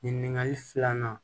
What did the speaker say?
Nin ɲininkali filanan